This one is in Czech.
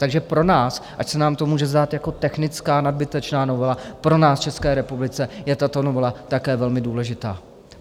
Takže pro nás, ač se nám to může zdát jako technická nadbytečná novela, pro nás v České republice je tato novela také velmi důležitá.